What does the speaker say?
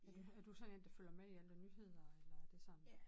Er du er du sådan en der følger med i alle nyheder eller er det sådan